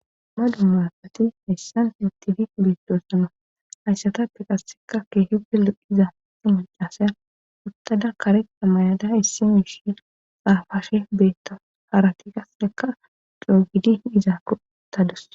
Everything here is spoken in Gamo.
Ma dumaaafati hayssan seltif beetdoorsana hayssata peqasseka keehi belu iza umacasay uttada kareqa mayada issimyishe aafashe beetta harati kasseka doogidi iza kotadose.